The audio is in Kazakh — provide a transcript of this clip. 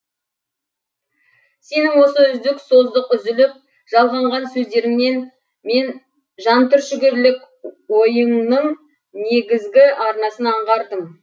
сенің осы үздік создық үзіліп жалғанған сөздеріңнен мен жантүршігерлік ойыңның негізгі арнасын аңғардым